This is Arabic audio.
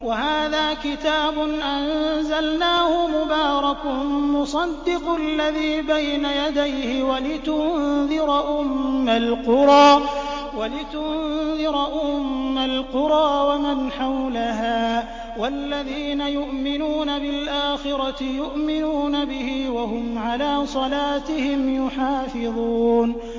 وَهَٰذَا كِتَابٌ أَنزَلْنَاهُ مُبَارَكٌ مُّصَدِّقُ الَّذِي بَيْنَ يَدَيْهِ وَلِتُنذِرَ أُمَّ الْقُرَىٰ وَمَنْ حَوْلَهَا ۚ وَالَّذِينَ يُؤْمِنُونَ بِالْآخِرَةِ يُؤْمِنُونَ بِهِ ۖ وَهُمْ عَلَىٰ صَلَاتِهِمْ يُحَافِظُونَ